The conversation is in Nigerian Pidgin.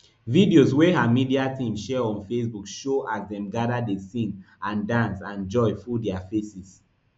videos wey her media team share on facebook show as dem gada dey sing and dance and joy full dia faces